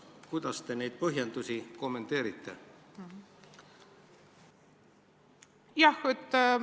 Kuidas te neid põhjendusi kommenteeriksite?